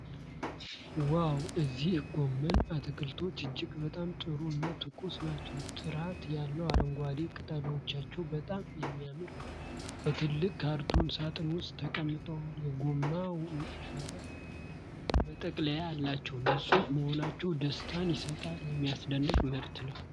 ዋው! እነዚህ ጎመን አትክልቶች እጅግ በጣም ጥሩ እና ትኩስ ናቸው። ጥርት ያለ አረንጓዴ ቅጠሎቻቸው በጣም የሚያምር ነው። በትልቅ ካርቶን ሳጥን ውስጥ ተቀምጠው የጎማ መረብ መጠቅለያ አላቸው። ንጹህ መሆናቸው ደስታን ይስጣል። የሚደንቅ ምርት ነው!